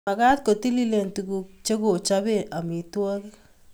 Magat ko tililen tuguk chekochope amitwogik